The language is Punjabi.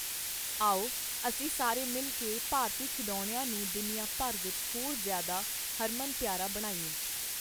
ਆਓ, ਅਸੀਂ ਸਾਰੇ ਮਿਲ ਕੇ ਭਾਰਤੀ ਖਿਡੌਣਿਆਂ ਨੂੰ ਦੁਨੀਆ ਭਰ ਵਿੱਚ ਹੋਰ ਜ਼ਿਆਦਾ ਹਰਮਨਪਿਆਰਾ ਬਣਾਈਏ।